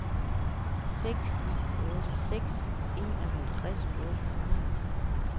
seks ni otte seks enoghalvtreds otte hundrede